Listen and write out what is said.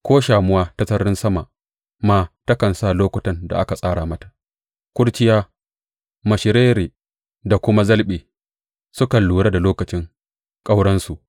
Ko shamuwa ta sararin sama ma takan san lokutan da aka tsara mata, kurciya, mashirare da kuma zalɓe sukan lura da lokacin ƙauransu.